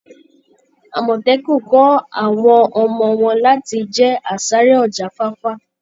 Amọtẹkun kọ́ àwọn ọmọ wọn láti jẹ́ asáré ọ̀jáfáfá.